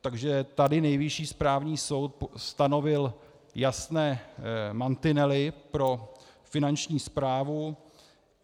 Takže tady Nejvyšší správní soud stanovil jasné mantinely pro Finanční správu.